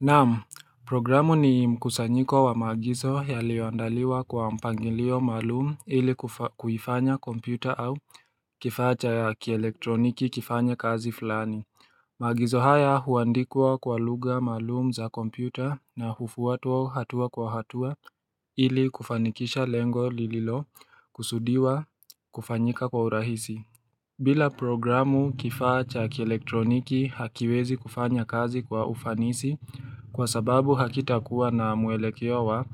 Naam, programu ni mkusanyiko wa maagizo yalioandaliwa kwa mpangilio maalumu ili kufanya kompyuta au kifaa cha ya kielektroniki kifanya kazi fulani Magizo haya huandikwa kwa lugha maalumu za kompyuta na hufuata hatua kwa hatua ili kufanikisha lengo lililokusudiwa kufanyika kwa urahisi bila programu kifaa cha kielektroniki hakiwezi kufanya kazi kwa ufanisi kwa sababu hakitakuwa na muelekeo wa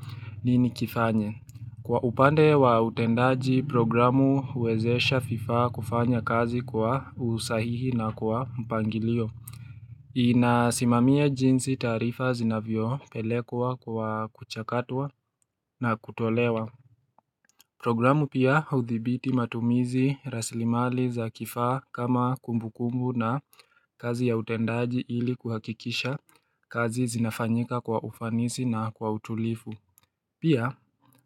nini kifanye. Kwa upande wa utendaji programu uwezesha vifaa kufanya kazi kwa usahihi na kwa mpangilio. Ina simamia jinsi taarifa zinavyo pelekwa kwa kuchakatua na kutolewa. Programu pia huthibiti matumizi rasilimali za kifaa kama kumbu kumbu na kazi ya utendaji ili kuhakikisha kazi zinafanyika kwa ufanisi na kwa utulivu. Pia,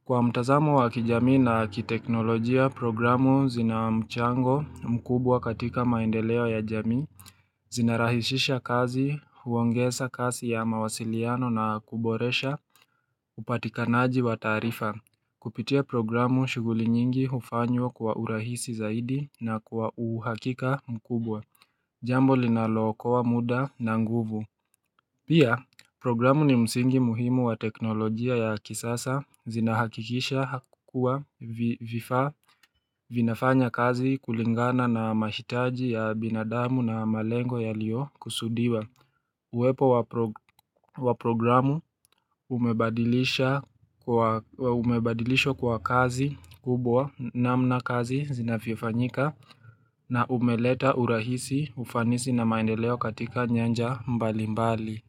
kwa mtazamo wa kijamii na kiteknolojia, programu zina mchango mkubwa katika maendeleo ya jamii, zinarahishisha kazi, huongeza kazi ya mawasiliano na kuboresha, upatikanaji wa taarifa. Kupitia programu shuguli nyingi hufanywa kwa urahisi zaidi na kwa uhakika mkubwa, jambo linalo okoa wa muda na nguvu. Pia, programu ni msingi muhimu wa teknolojia ya kisasa zinahakikisha hakukua vifa vinafanya kazi kulingana na mashitaji ya binadamu na malengo yaloyo kusudiwa. Uwepo wa programu umebadilisha kwa kazi kubwa na mna kazi zinafifanyika na umeleta urahisi ufanisi na maendeleo katika nyanja mbali mbali.